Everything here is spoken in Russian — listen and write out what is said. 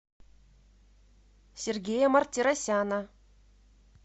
сергея мартиросяна